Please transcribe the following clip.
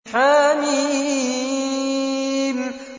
حم